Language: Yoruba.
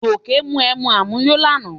Gòkè mu emu àmuyó lánàá